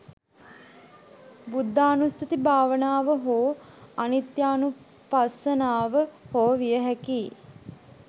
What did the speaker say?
බුද්ධානුස්සති භාවනාව හෝ අනිත්‍යානුපස්සනාව හෝ විය හැකියි.